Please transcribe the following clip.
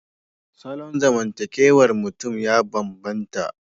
Salon zamantakewar mutum ya bambanta.